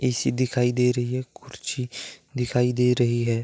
AC दिखाई दे रही है। कुर्सी दिखाई दे रही है।